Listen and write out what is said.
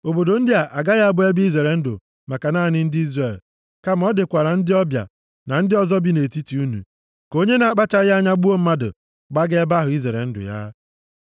Obodo ndị a agaghị abụ ebe izere ndụ maka naanị ndị Izrel, kama ọ dịkwara ndị ọbịa na ndị ọzọ bi nʼetiti unu, ka onye na-akpachaghị anya gbuo mmadụ gbaga ebe ahụ izere ndụ ya.